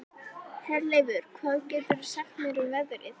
Herleifur, hvað geturðu sagt mér um veðrið?